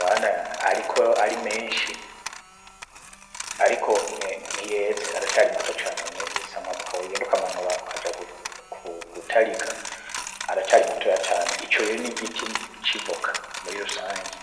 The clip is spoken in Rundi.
bana, ariko ari menshi, ariko ntiyeze aracari mato cane si amavoka wogenduka amanora akaja ku gutarika ara cari matoya cane ico rire nigiti civoka muri rusange.